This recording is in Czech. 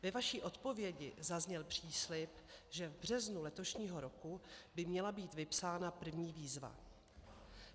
Ve vaší odpovědi zazněl příslib, že v březnu letošního roku by měla být vypsána první výzva.